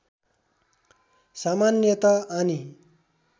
सामान्यत आनी